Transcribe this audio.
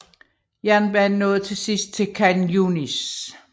Jernbanen nåede til sidst til Khan Yunis